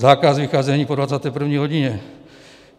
Zákaz vycházení po 21. hodině.